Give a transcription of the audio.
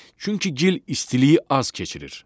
Çünki gil istiliyi az keçirir.